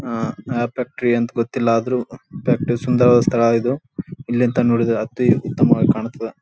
ಅಹ್ ಯಾವ್ ಫ್ಯಾಕ್ಟರಿ ಅಂತ ಗೊತ್ತಿಲ್ಲಾ ಆದ್ರೂ ಫ್ಯಾಕ್ಟರಿ ಸುಂದರವಾದ ಸ್ಥಳ ಇದು ಇಲ್ಲಿ ನಿಂತ ನೋಡಿದರೆ ಅತಿ ಉತ್ತಮವಾಗಿ ಕಾಣ್ ತದ್ದ್.